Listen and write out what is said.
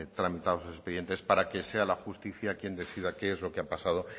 tramitados esos expedientes para que sea la justicia quien decida qué es lo que ha pasado